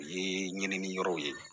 Ye ɲinini yɔrɔw ye